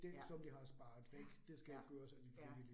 Ja, ja, ja, ja